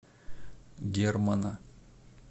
германа